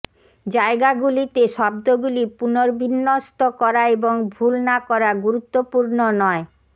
জায়গাগুলিতে শব্দগুলি পুনর্বিন্যস্ত করা এবং ভুল না করা গুরুত্বপূর্ণ নয়